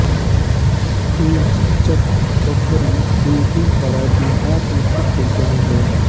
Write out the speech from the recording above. तुलसीचक बखरी बेगूसराय बिहार स्थित एक गाँव है